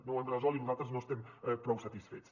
no ho hem resolt i nosaltres no estem prou satisfets